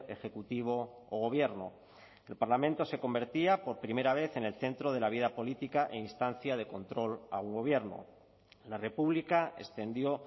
ejecutivo o gobierno el parlamento se convertía por primera vez en el centro de la vida política e instancia de control a un gobierno la república extendió